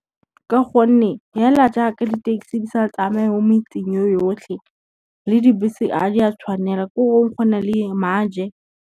Ka gonne fela jaaka di-taxi di sa tsamaye mo metseng ye yotlhe, le dibese a di a tshwanela ko go na le maje.